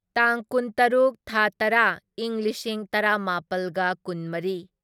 ꯇꯥꯡ ꯀꯨꯟꯇꯔꯨꯛ ꯊꯥ ꯇꯔꯥ ꯢꯪ ꯂꯤꯁꯤꯡ ꯇꯔꯥꯃꯥꯄꯜꯒ ꯀꯨꯟꯃꯔꯤ